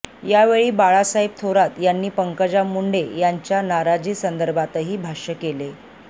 यावेळी बाळासाहेब थोरात यांनी पंकजा मुंडे यांच्या नाराजीसंदर्भातही भाष्य केले